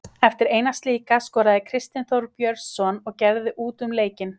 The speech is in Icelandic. Eftir eina slíka skoraði Kristinn Þór Björnsson og gerði út um leikinn.